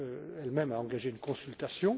Elle même a engagé une consultation.